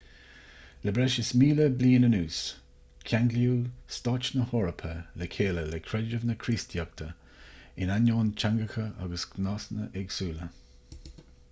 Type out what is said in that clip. le breis is míle bliain anuas ceanglaíodh stáit na heorpa le chéile le creideamh na críostaíochta in ainneoin teangacha agus gnásanna éagsúla